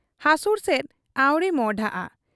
ᱦᱟᱹᱨᱥᱩᱲ ᱥᱮᱫ ᱟᱹᱣᱨᱤ ᱢᱚᱸᱦᱰᱟᱜ ᱟ ᱾